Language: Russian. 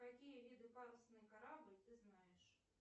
какие виды парусный корабль ты знаешь